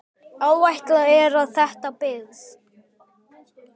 Áætlað er að þétta byggð.